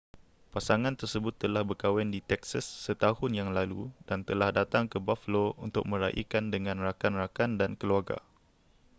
pasangan tersebut telah berkahwin di texas setahun yang lalu dan telah datang ke buffalo untuk meraikan dengan rakan-rakan dan keluarga